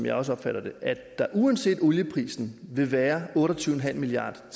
jeg også opfatter det at der uanset olieprisen vil være otte og tyve milliard